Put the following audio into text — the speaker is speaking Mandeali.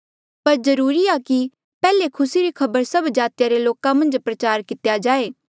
पर जरूरी आ कि पैहले खुसी री खबर सब जातिया रे लोका मन्झ प्रचार कितेया जाए